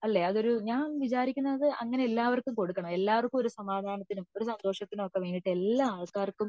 അല്ലെ അതൊരു ഞാൻ വിചാരിക്കുന്നത് എല്ലാവര്ക്കും കൊടുക്കണം എല്ലാവര്ക്കും ഒരു സമാധാനത്തിനും ഒരു സന്തോഷത്തിനും വേണ്ടീട്ട് എല്ലാ ആൾക്കാർക്കും